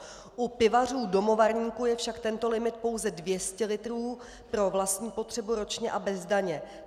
U pivařů domovarníků je však tento limit pouze 200 litrů pro vlastní potřebu ročně a bez daně.